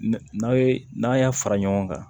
N'a ye n'a y'a fara ɲɔgɔn kan